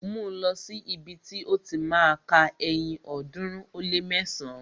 Mú lọ̀ sí ibi ti ó ti má a ka ẹyin ọ̀ọ́dúnrún ó lé mẹsán!